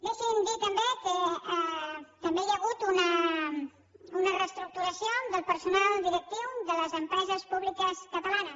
deixi’m dir també que també hi ha hagut una reestructuració del personal directiu de les empreses públiques catalanes